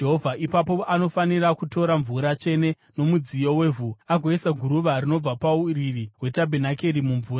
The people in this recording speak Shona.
Ipapo anofanira kutora mvura tsvene mumudziyo wevhu agoisa guruva rinobva pauriri hwetabhenakeri mumvura.